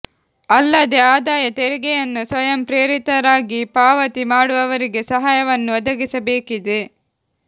ಅಲ್ಲದೇ ಆದಾಯ ತೆರಿಗೆಯನ್ನು ಸ್ವಯಂ ಪ್ರೇರಿತರಾಗಿ ಪಾವತಿ ಮಾಡುವವರಿಗೆ ಸಹಾಯವನ್ನು ಒದಗಿಸಬೇಕಿದೆ